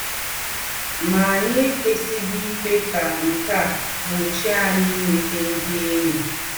Má, ányị̀ èkwèsịghị íkwé kà nkè á gbochie ányị̀ ìmétà ndị̀ ényí.